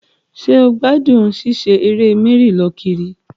Ṣé o gbádùn ṣíṣe eré mẹ́rì-lọ-kiri?